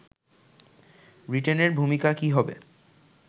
ব্রিটেনের ভূমিকা কি হবে